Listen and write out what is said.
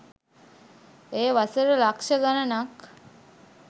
එය වසර ලක්ෂ ගණනක්